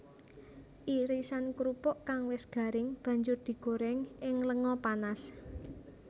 Irisan krupuk kang wis garing banjur digoréng ing lenga panas